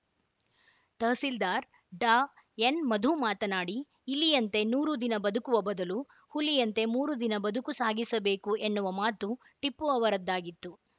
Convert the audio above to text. ತಹಸೀಲ್ದಾರ್‌ ಡಾಎನ್‌ಮಧು ಮಾತನಾಡಿ ಇಲಿಯಂತೆ ನೂರು ದಿನ ಬದುಕುವ ಬದಲು ಹುಲಿಯಂತೆ ಮೂರು ದಿನ ಬದುಕು ಸಾಗಿಸಬೇಕು ಎನ್ನುವ ಮಾತು ಟಿಪ್ಪು ಅವರದ್ದಾಗಿತ್ತು